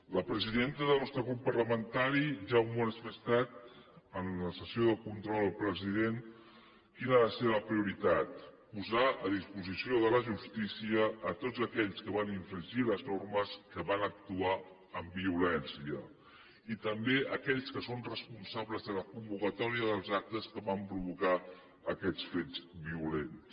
la presidenta del nostre grup parlamentari ja ha manifestat en la sessió de control al president quina ha de ser la prioritat posar a disposició de la justícia tots aquells que van infringir les normes que van actuar amb violència i també aquells que són responsables de la convocatòria dels actes que van provocar aquests fets violents